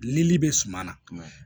Dili bɛ suma na